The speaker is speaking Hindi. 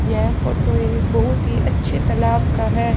यह फोटो एक बहुत ही अच्छे तालाब का है।